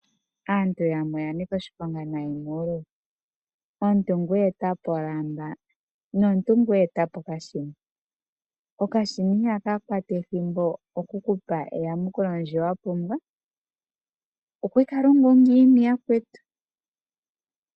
Aantu yamwe oya nika oshiponga nayi muuluwi. Omuntu ngu eetapo olamba nomuntu ngu eetapo okashina. Okashina ihaka kwata ethimbo nokukupa eyamukulo ndi wapumbwa. Okwe ka longo ngiini yakwetu?